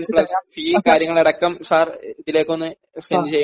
mission plus ഫീയും കാര്യങ്ങളുമടക്കം sir ഇതിലേക്ക് ഒന്ന് സെൻഡ് ചെയ്യണം